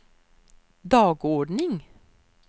dagordning